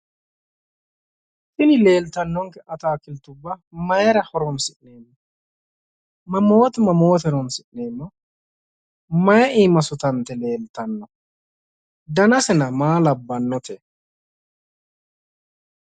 tini leeltannonke akaakiltubba mayiira horonsi'neemmo? mamoote mamoote horonsi'neemmo? mayi iima sutante leeltanno? danasna maa labbannote?